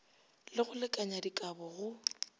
le go lekanya dikabo go